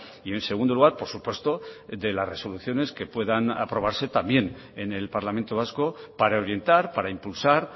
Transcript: y en segundo lugar por supuesto de las resoluciones que puedan aprobarse también en el parlamento vasco para orientar para impulsar